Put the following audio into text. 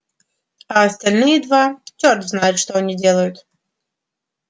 а остальные два чёрт знает что они делают